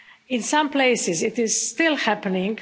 In some places it is still happening.